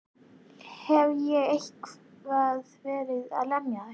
Hef ég eitthvað verið að lemja þig?